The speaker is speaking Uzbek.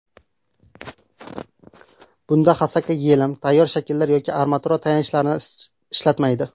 Bunda Xosaka yelim, tayyor shakllar yoki armatura tayanchlarni ishlatmaydi.